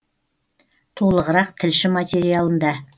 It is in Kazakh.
толығырақ тілші материалында